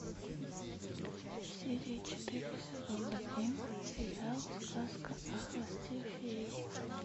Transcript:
серия четыре сезон один сериал сказка о хвосте феи